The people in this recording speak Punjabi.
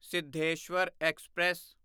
ਸਿੱਧੇਸ਼ਵਰ ਐਕਸਪ੍ਰੈਸ